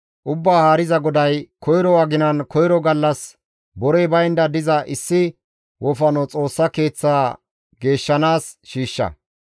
« ‹Ubbaa Haariza GODAY: koyro aginan, koyro gallas borey baynda diza issi wofano Xoossa Keeththa geeshshanaas shiishsha.